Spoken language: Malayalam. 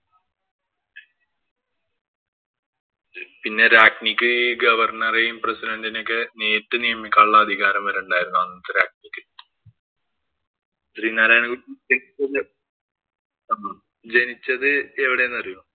പിന്നെ രാജ്ഞിക്ക് ഈ governor എയും, president ഇനെയൊക്കെയും നേരിട്ട് നിയമിക്കാനുള്ള അധികാരം വരെയുണ്ടായിരുന്നു അന്നത്തെ രാജ്ഞിക്ക്. ശ്രീനാരായണ ഗുരു ജനിച്ചത് എവിടെയന്നറിയുവോ?